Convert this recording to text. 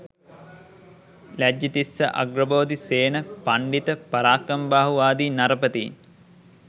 ලජ්ජිතිස්ස, අග්‍රබෝධි, සේන, පණ්ඩිත පරාක්‍රමබාහු ආදී නරපතීන්